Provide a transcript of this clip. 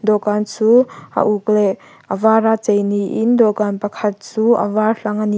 dawhkan chu a uk leh a vara chei niin dawhkan pakhat chu a var hlang ania--